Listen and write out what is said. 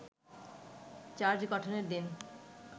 charge গঠনের দিন